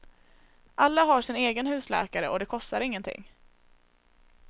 Alla har sin egen husläkare och det kostar ingenting.